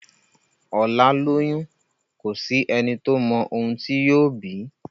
ọlá lóyún kọ sí ẹní tó má òun tí yóò bí